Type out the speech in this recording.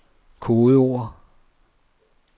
kodeord